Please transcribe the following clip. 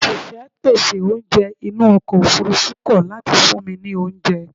Òṣìṣẹ́ pèsè oúnjẹ inú ọkọ̀ ofurufú kọ̀ láti fún mi ní oúnjẹ.